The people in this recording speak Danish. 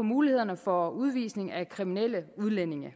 mulighederne for udvisning af kriminelle udlændinge